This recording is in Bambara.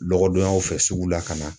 Dɔgɔdonyaw fɛ ,sugu la ka na.